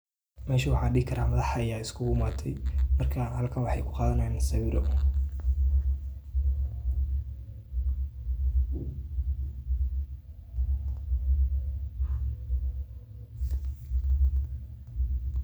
Mesha waxaan dhihi karaa madax ayaa uskugu yimaaday. Marka, halkan waxay ku qadanayaan sawiro.